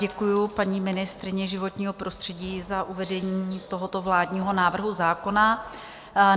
Děkuji paní ministryni životního prostředí za uvedení tohoto vládního návrhu zákona.